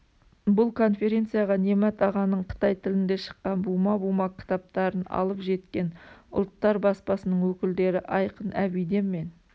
бұл конференцияға немат ағаның қытай тілінде шыққан бума-бума кітаптарын алып жеткен ұлттар баспасының өкілдері айқын әбиден мен